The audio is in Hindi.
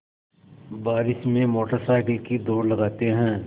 बारिश में मोटर साइकिल की दौड़ लगाते हैं